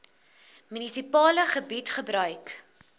munisipale gebied gebruik